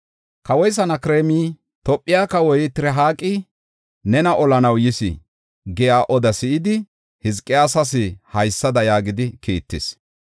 Kawoy Sanakreemi, “Tophe kawoy Tirihaaqi nena olanaw yis” giya odaa si7idi, Hizqiyaasas haysada yaagidi kiittis.